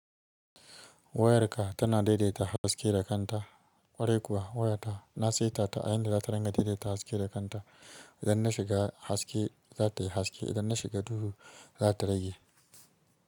Wayarka tana daidaita haske da kanta. Ƙwarai kuwa wayata na saita ta a yanda za ta ringa daidaita haske da kanta. Idan na shiga haske za ta yi haske, idan na shiga duhu za ta rage.